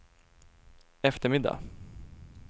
eftermiddag